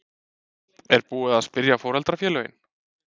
Er búið að spyrja foreldrafélögin?